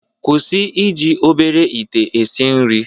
kwụsị iji obere ite esi nri